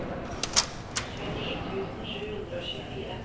tjueni tusen sju hundre og tjuefire